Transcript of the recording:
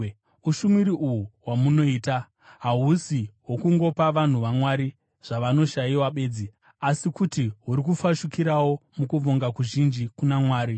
Ushumiri uhu hwamunoita, hahusi hwokungopa vanhu vaMwari zvavanoshayiwa bedzi, asi kuti huri kufashukirawo mukuvonga kuzhinji kuna Mwari.